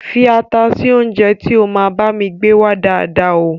Fii ata sì oúnjẹ tí ó máa bami gbé wá dáàda o